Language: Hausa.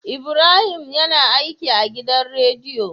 Ibrahim yAna aiki a gidan rediyo